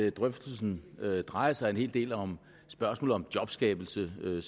at drøftelsen drejer sig en hel del om spørgsmålet om jobskabelse hvilket